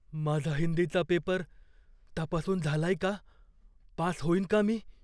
माझा हिंदीचा पेपर तपासून झालाय का? पास होईन का मी?